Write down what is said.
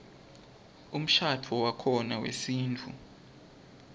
umshadvo wakhona wesintfu